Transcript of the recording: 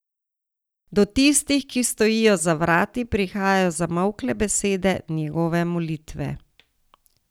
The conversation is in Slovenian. Do tistih, ki stojijo za vrati, prihajajo zamolkle besede njegove molitve.